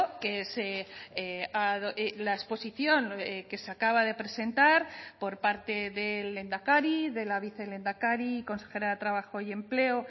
que se la exposición que se acaba de presentar por parte del lehendakari de la vicelehendakari y consejera de trabajo y empleo